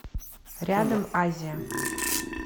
рядом азия